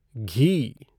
घी